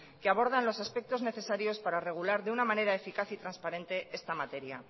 que abordan los aspectos necesarios para regular de una manera eficaz y transparente esta materia